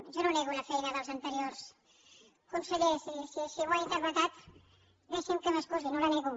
jo no nego la feina dels anteriors consellers i si així ho ha interpretat deixi’m que m’excusi no la nego